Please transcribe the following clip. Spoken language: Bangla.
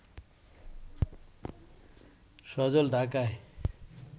সজল ঢাকায়